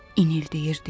İnildəyirdi.